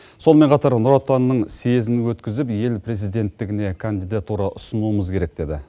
сонымен қатар нұр отанның съезін өткізіп ел президенттігіне кандидатура ұсынуымыз керек деді